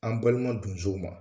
An balima donsow ma